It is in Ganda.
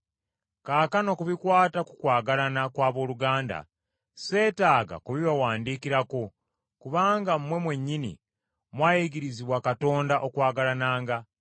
Kaakano ku bikwata ku kwagalana kw’abooluganda sseetaaga kubibawandiikirako, kubanga mmwe mwennyini mwayigirizibwa Katonda okwagalananga.